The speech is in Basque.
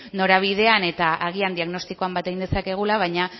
norabidean eta agian diagnostikoan bat egin dezakegula baina